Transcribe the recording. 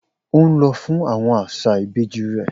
O n lọ fun awọn aṣa ibeji rẹ